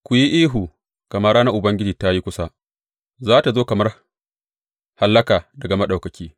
Ku yi ihu, gama ranar Ubangiji ta yi kusa za tă zo kamar hallaka daga Maɗaukaki.